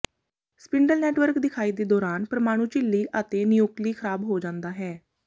spindle network ਦਿਖਾਈ ਦੇ ਦੌਰਾਨ ਪਰਮਾਣੂ ਝਿੱਲੀ ਅਤੇ ਨਿਊਕਲੀ ਖਰਾਬ ਹੋ ਜਾਂਦਾ ਹੈ